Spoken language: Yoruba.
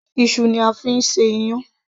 iṣu ni a fi ń ṣe iyán